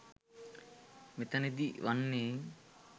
මෙතැනදී වන්නේ